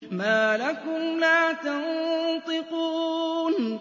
مَا لَكُمْ لَا تَنطِقُونَ